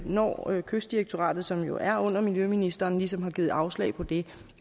når kystdirektoratet som jo er under miljøministeren ligesom har givet afslag på det